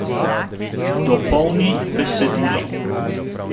Dopolni besedilo!